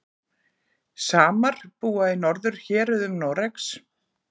samar búa í norðurhéruðum noregs